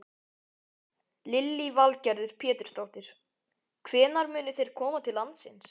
Lillý Valgerður Pétursdóttir: Hvenær munu þeir koma til landsins?